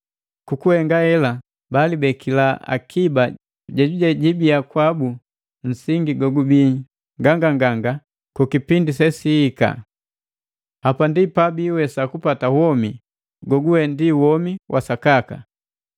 Kukuhenga hela balibekila akiba jejuje jibiya kwabu nsingi gogubii nganganganga ku kipindi sesihika. Hapa ndi pabiiwesa kupata womi goguwe ndi womi wa sakaka.